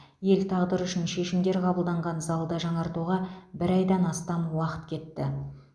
ел тағдыры үшін шешімдер қабылданған залды жаңартуға бір айдан астам уақыт кетті